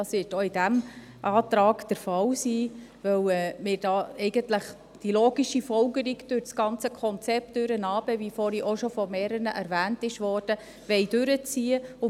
Dies wird auch in diesem Antrag der Fall sein, weil wir eigentlich die logische Folgerung durch das ganze Konzept – wie dies schon von mehreren erwähnt wurde – durchziehen wollen.